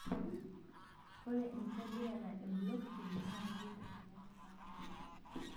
ore enkitobirata ee blockchain naa kepik eseriani oo ntapuka